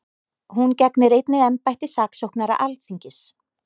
Hún gegnir einnig embætti saksóknara Alþingis